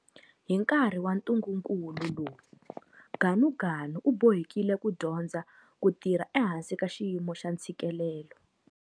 Hi nkarhi wa ntungukulu lowu Ganuganu u bohekile ku dyondza ku tirha ehansi ka xiyimo xa ntshikelelo.